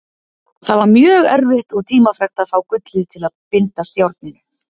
Það var mjög erfitt og tímafrekt að fá gullið til að bindast járninu.